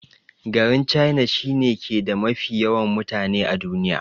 Garin china shi ne ke da mafi yawan mutane a duniya.